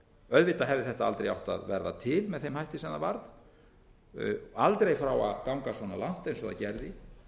auðvitað hefði þetta aldrei átt að verða til með þeim hætti sem það varð aldrei fá að ganga svona langt eins og það gerði